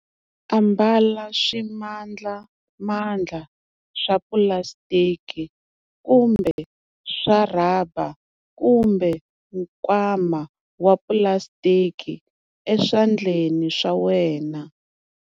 Ambala swimandlamandla swa pulasitiki kumbe swa rhaba kumbe nkwama wa pulasitiki eswandenleni swa wena.